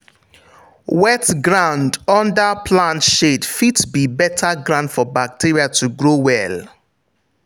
wet ground under plant shade fit be better ground for bacteria to grow well.